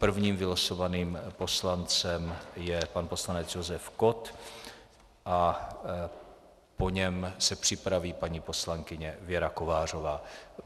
Prvním vylosovaným poslancem je pan poslanec Josef Kott a po něm se připraví paní poslankyně Věra Kovářová.